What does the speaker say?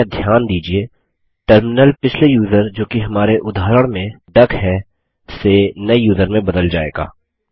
कृपया ध्यान दीजिये टर्मिनल पिछले यूज़र जोकि हमारे उदाहरण में डक है से नये यूज़र में बदल जाएगा